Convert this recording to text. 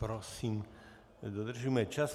Prosím, dodržujme čas.